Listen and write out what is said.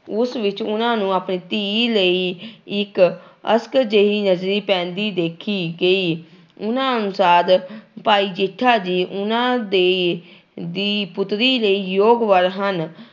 ਉਸ ਵਿੱਚ ਉਹਨਾਂ ਨੂੰ ਆਪਣੀ ਧੀ ਲਈ ਇੱਕ ਅਸਕ ਜਿਹੀ ਨਜ਼ਰੀ ਪੈਂਦੀ ਦੇਖੀ ਗਈ, ਉਹਨਾਂ ਅਨੁਸਾਰ ਭਾਈ ਜੇਠਾ ਜੀ ਉਹਨਾਂ ਦੇ ਦੀ ਪੁੱਤਰੀ ਦੇ ਯੋਗ ਵਰ ਹਨ।